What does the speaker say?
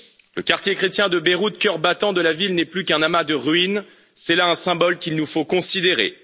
Le quartier chrétien de Beyrouth, cœur battant de la ville, n'est plus qu'un amas de ruines c'est là un symbole qu'il nous faut considérer.